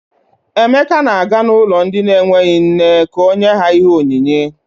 Emeka na-aga ụlọ ndị enweghi nne ka o nye ha ihe onyinye.